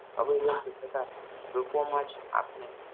અભિવ્યક્ત થતા રૂપોમાં જ આપને